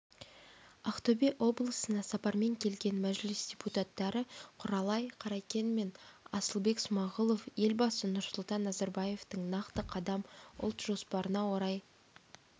ақтөбе облысынасапарменкелген мәжіліс депутаттары құралай қаракен мен асылбек смағұловелбасы нұрсұлтан назарбаевтың нақты қадам ұлт жоспарына орай